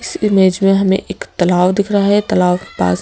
इस इमेज में हमें एक तालाव दिख रहा है तालाव के पास--